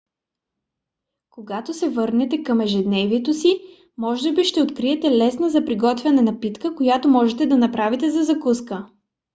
когато се върнете към ежедневието си може би ще откриете лесна за приготвяне напитка която можете да направите за закуска